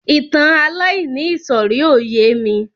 Ìtàn aláìníìsọ̀rí ò yémi.